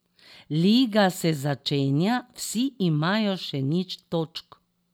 Liga se začenja, vsi imajo še nič točk.